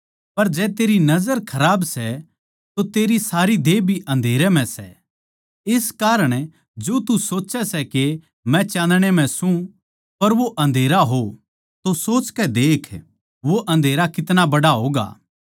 पर जै तेरी सोच खराब सै तो तेरी सारी देह भी अन्धेरे म्ह सै इस कारण जो तू सोच्चै सै के मै चाँदणे म्ह सूं पर वो अन्धेरा हो तो सोचकै देख वो अन्धेरा कितना बड्ड़ा होगा